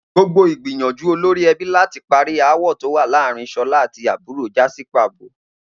Gbogbo ìgbìyànjú olorí e̩bí láti parí aáwò̩ tó wà láàárín S̩olá àti àbúrò já sí pàbó